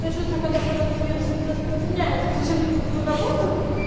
то чувство когда коронавирус не распространяется к сожалению на твою работу